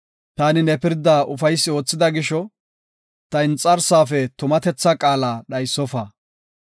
Taani ne pirda ufaysi oothida gisho, ta inxarsaafe tumatethaa qaala dhaysofa.